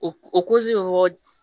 O o